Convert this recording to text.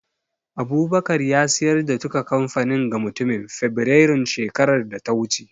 Abubakar ya siyar da duka kamfanin ga mutumin Fibirairun shekarar da ta wuce